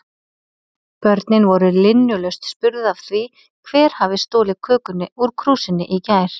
Börnin voru linnulaust spurð af því hver hafi stolið kökunni úr krúsinni í gær?